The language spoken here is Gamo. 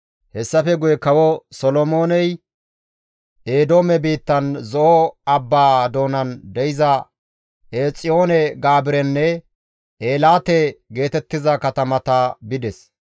Hessafe guye kawo Solomooney Eedoome biittan Zo7o abbaa doonan de7iza Eexiyoon-Gaabirenne Eelaate geetettiza katamata bides.